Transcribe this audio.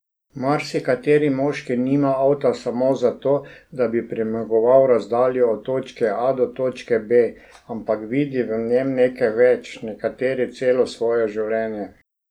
Marsikateri moški nima avta samo zato, da bi premagoval razdaljo od točke A do točke B, ampak vidi v njem nekaj več, nekateri celo svoje življenje.